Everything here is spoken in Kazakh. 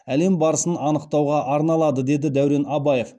әлем барысын анықтауға арналады деді дәурен абаев